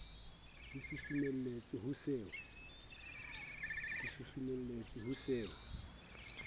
a o susumeletsang ho se